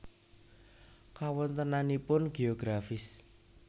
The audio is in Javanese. Kawontenanipun Geografis